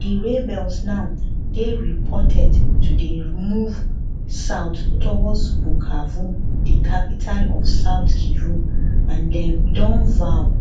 di rebels now dey reported to dey move south towards bukavu di capital of south kivu and dem vow